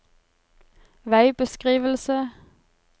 veibeskrivelse